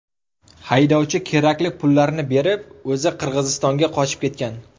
Haydovchi kerakli pullarni berib, o‘zi Qirg‘izistonga qochib ketgan.